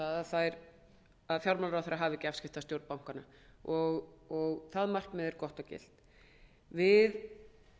krafa um að fjármálaráðherra hafi ekki afskipti af stjórn bankanna það markmið er gott og gilt við